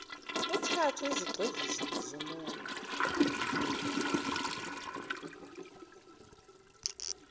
kuthathwe izigxivizo zeminwe